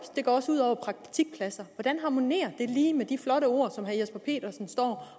det går også ud over praktikpladser hvordan harmonerer det lige med de flotte ord som herre jesper petersen står